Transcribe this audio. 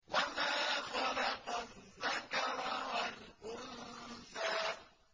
وَمَا خَلَقَ الذَّكَرَ وَالْأُنثَىٰ